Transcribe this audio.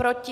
Proti?